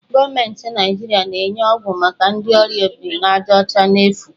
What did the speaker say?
Gọọmentị Naijiria na-enye ọgwụ maka ndị ọrịa obirinajaọcha n'efu.